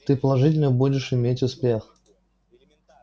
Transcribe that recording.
ты положительно будешь иметь успех